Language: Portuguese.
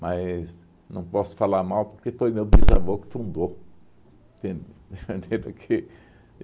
Mas não posso falar mal, porque foi meu bisavô que fundou. Entende? Entende que